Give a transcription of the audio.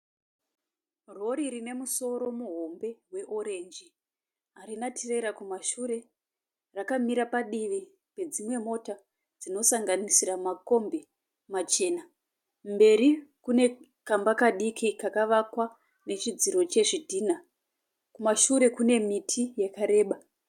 Rori rine musoro muhombe weoreji. Hatina tirera kumashure. Rakamira padivi kwedzimwe mota dzinosakanisira makombi machena. Mberi kune kamba kadiki kaka akwa nechidziro chezvidhina. Kumashure kune miti yakareba